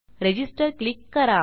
register click करा